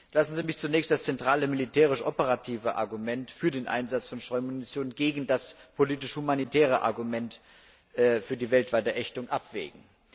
Lassen Sie mich zunächst das zentrale militärisch operative Argument für den Einsatz von Streumunition gegen das politisch humanitäre Argument für die weltweite Ächtung abwägen.